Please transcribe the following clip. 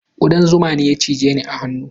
Kudan zuma ne ya cije ni a hannu.